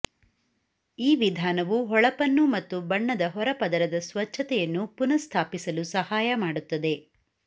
ಈ ವಿಧಾನವು ಹೊಳಪನ್ನು ಮತ್ತು ಬಣ್ಣದ ಹೊರ ಪದರದ ಸ್ವಚ್ಛತೆಯನ್ನು ಪುನಃಸ್ಥಾಪಿಸಲು ಸಹಾಯ ಮಾಡುತ್ತದೆ